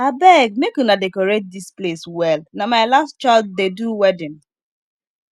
abeg make una decorate dis place well na my last child dey do wedding